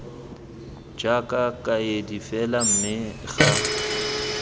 jaaka kaedi fela mme ga